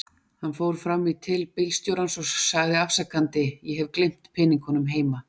Hann fór fram í til bílstjórans og sagði afsakandi: Ég hef gleymt peningunum heima.